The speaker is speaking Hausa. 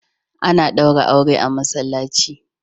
Ana ɗaura aure a masallaci.